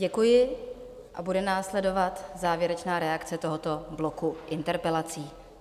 Děkuji a bude následovat závěrečná reakce tohoto bloku interpelací.